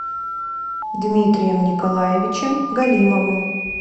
дмитрием николаевичем галимовым